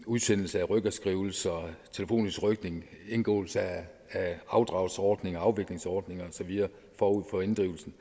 udsendelse af rykkerskrivelser telefonisk rykning indgåelse af afdragsordninger og afviklingsordninger og så videre forud for inddrivelsen